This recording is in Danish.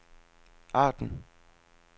Arden